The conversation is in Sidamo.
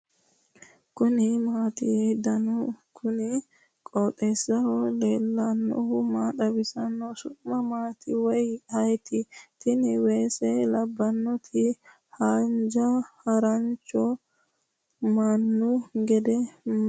kuni maati ? danu kuni qooxeessaho leellannohu maa xawisanno su'mu maati woy ayeti ? tini weese labbnnoti hojja harancho mannu gede mati ?